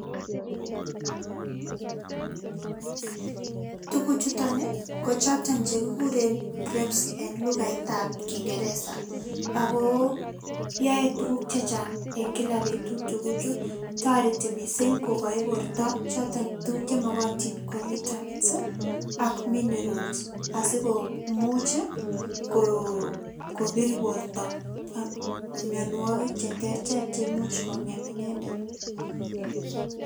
Tukuchuton ii, ko choton che kikuren grapes en lugaitab kingereza, ako yoe tukuk che chang en kila betut tukuchu, toreti mising kokochi borta choton tukuk che mokotin ko vitamins ii ak minerals asi komuch ii kobir borta mionwogik che terter che imuch kongem inendet.